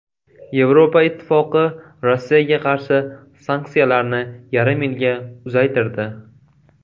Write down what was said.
Yevropa Ittifoqi Rossiyaga qarshi sanksiyalarni yarim yilga uzaytirdi.